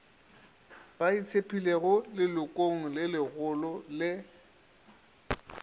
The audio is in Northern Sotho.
ba itshepilego lelokong legolo le